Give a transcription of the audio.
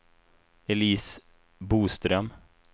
Elise Boström